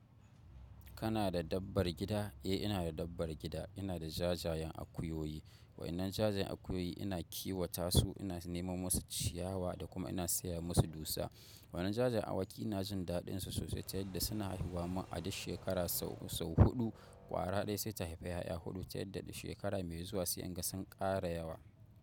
Kana da dabbar gida? Eh, ina da dabbar gida. Ina da jajayen akuyoyi. Waƴannan jajayen akuyoyi ina kiwata su, ina neman musu ciyawa da kuma ina saya musu dusa. Waɗannan jajen awaki ina jin daɗinsu sosai, taya da suna haihuwa mun a duk shekara sau, sau huɗu. Kwara ɗaya sai ta haifi ƴaƴa huɗu, ta yadda shekara mai zuwa sai in ga sun ƙara yawa.